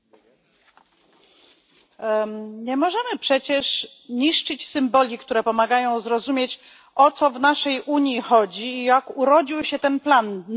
Nie możemy przecież niszczyć symboli, które pomagają zrozumieć, o co w naszej Unii chodzi, jak urodził się ten plan najlepszy w historii naszego kontynentu.